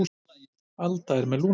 Alda með lungnabólgu.